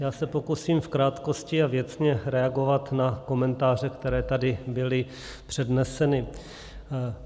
Já se pokusím v krátkosti a věcně reagovat na komentáře, které tady byly předneseny.